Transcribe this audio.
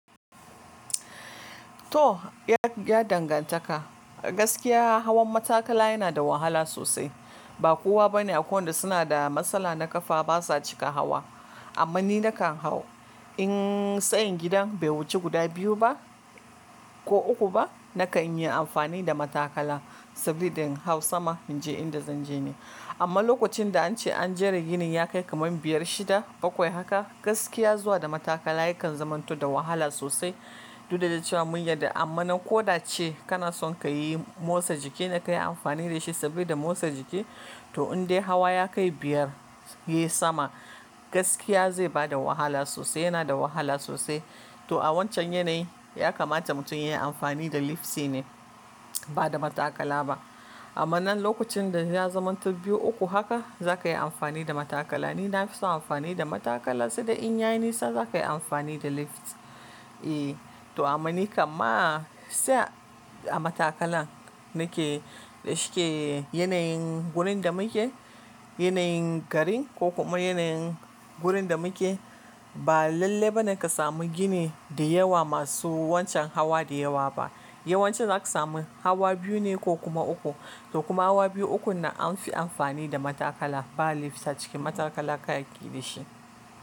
To, ya dangantaka, gaskiya hawan matakala yana da wahala sosai. Ba kowa bane a ko wanda suna da matsala na ƙafa basa cika hawa. Amma ni nakan hau in tsayin gidan bai wuce guda biyu ba ko uku ba nakan yi amfani da matakala saboda in hau sama in je inda zan je ne. Amma lokacin da an ce an jera ginin ya kai kamar biyar shida bakwai haka gaskiya zuwa da matakala yakan zamanto da wahala sosai. Duk da cewa mun yarda amma nan ko da ce kana son ka yi motsa jiki na ka yi amfani da shi saboda motsa jiki to in dai hawa ya kai biyar ye sama gaskiya zai bada wahala sosai yana da wahala sosai. To a wancan yanayi ya kamata mutum ya yi amfani da lift shine ba da matakala ba. Amma nan lokacin da ya zamanti biyu uku haka za ka yi amfani da matakala. Ni na fi son amfani da matakala sai dai in yaye nisa za ka yi amfani da lift. I to amma ni kamma sai a matakala nake da shike yanayin gurin da muke yanayin garin ko kuma yanayin gurin da muke ba lalle bane ka samu gini da yawa masu wancan hawa da yawa ba. Yawancin za ka samu hawa biyu ne ko kuma uku. To kuma hawa biyu uku nan an fi amfani da matakala ba lift a ciki matakala ka yi ƙi da shi.